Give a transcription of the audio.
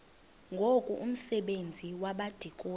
ngoku umsebenzi wabadikoni